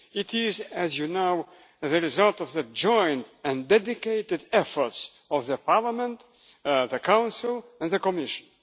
It is, as you know, the result of the joint and dedicated efforts of the Parliament, the Council and the Commission.